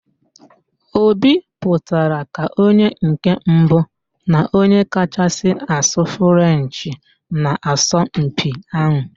Obi pụtara ka onye nke mbụ na onye kachasị asụ Frenchị n'asọmpi ahụ